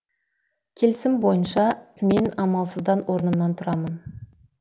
келісім бойынша мен амалсыздан орнымнан тұрамын